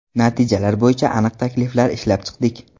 Natijalar bo‘yicha aniq takliflar ishlab chiqdik.